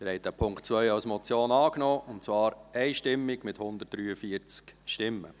Sie haben den Punkt 2 als Motion angenommen, und zwar einstimmig mit 143 Stimmen.